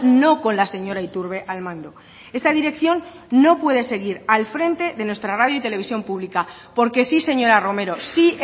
no con la señora iturbe al mando esta dirección no puede seguir al frente y mando de nuestra radio y televisión pública porque sí señora romero sí